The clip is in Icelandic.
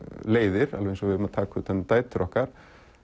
leiðir alveg eins og við eigum að taka utan um dætur okkar